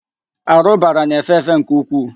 Árụ̀bara na-efe efe nke ukwuu.